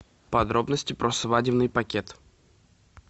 подробности про свадебный пакет